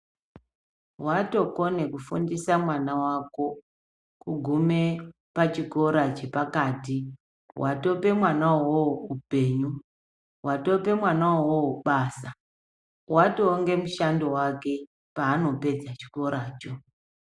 Watokone kufundisa mwana wako, ugume pachikora chepakati, watope mwana wowo wupenyu, watope mwana wowo basa, watowe ngemushando wake panopedza chikora cho.